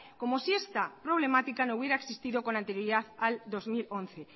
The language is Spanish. como si esta problemática no hubiera existido con anterioridad al dos mil once